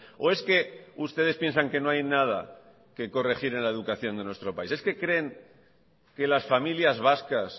o es que ustedes piensan que no hay nada que corregir en la educación de nuestro país es que creen que las familias vascas